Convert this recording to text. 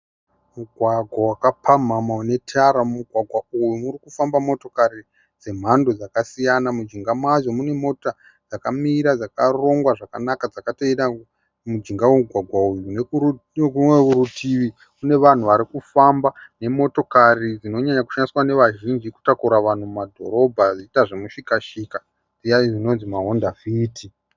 Mugwagwa vakapamhamha unetara mumugwagwa uyu mukufamba motokari dzemhando dzakasiyana mujinga madzo mune Mota dzakamira dzakarongwa zvakanaka dzakateera munjinga vememugwagwa uyu nekune rimwe kurutivi kune vanhu varikufamba ne motokari dzinovanzoshandiswa ne vazhinji kutakura vanhu mumadhorobha vachiita zvemushikashika aye anonzi mahonda fiti